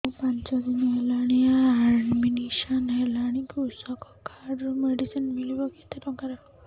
ମୁ ପାଞ୍ଚ ଦିନ ହେଲାଣି ଆଡ୍ମିଶନ ହେଲିଣି କୃଷକ କାର୍ଡ ରୁ ମେଡିସିନ ମିଳିବ କେତେ ଟଙ୍କାର